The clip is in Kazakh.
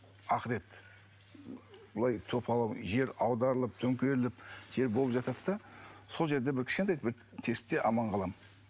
ақырет былай жер аударылып төңкеріліп жер болып жатады да сол жерде бір кішкентай бір тесікте аман қаламын